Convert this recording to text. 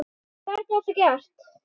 Hvernig er það gert?